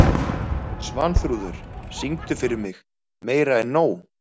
Svanþrúður, syngdu fyrir mig „Meira En Nóg“.